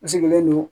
N sigilen do